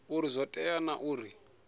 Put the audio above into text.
uri zwo tea naa uri